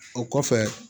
O kɔfɛ